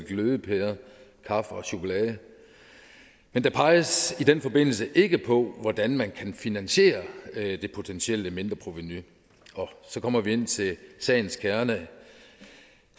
glødepærer kaffe og chokolade men der peges i den forbindelse ikke på hvordan man kan finansiere det potentielle mindreprovenu og så kommer vi ind til sagens kerne